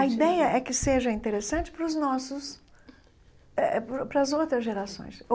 A ideia é que seja interessante para os nossos... eh para as outras gerações.